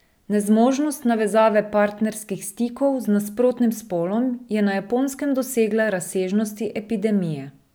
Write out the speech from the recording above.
Nezmožnost navezave partnerskih stikov z nasprotnim spolom je na Japonskem dosegla razsežnosti epidemije.